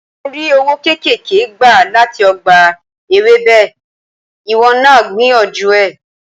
Mò ń rí owó kéékèèké gbà láti ọgbà Ewébẹ̀, ìwọ náà gbìyànjú ẹ̀.